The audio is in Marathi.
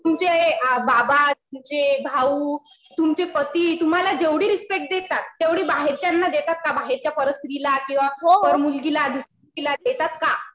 तुमचे बाबा, तुमचे भाऊ, तुमचे पती तुम्हाला जेवढी रिस्पेक्ट देतात तेवढी बाहेरच्यांना देतात का? बाहेरच्या परस्त्री ला किंवा मुलगीला देतात का?